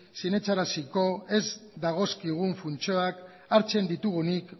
sinetsaraziko ez dagozkigun funtzioak hartzen ditugunik